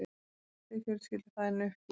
dæsti fjölskyldufaðirinn uppgefinn.